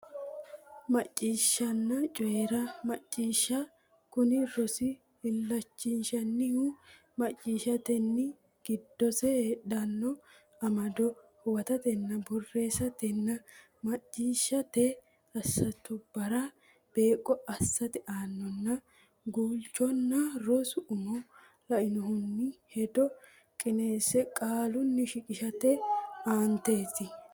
Macciishshanna coyi ra Macciishsha Kuni rosi illachishannohu macciishshatenni giddose heedhanno amado huwatatenna borreessatenna macciishshate assootubbara beeqqo assate aananna guulchonna rosu umo la annohunni hedo qineesse qaalunni shiqishate aanaati.